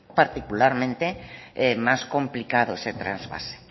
particularmente más complicado se trasvase